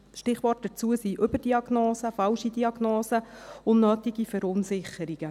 Stichworte hierzu sind Überdiagnosen, falsche Diagnosen, unnötige Verunsicherung.